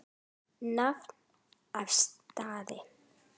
Nafn og staða?